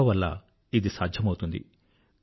యోగా వల్ల ఇది సాధ్యమౌతుంది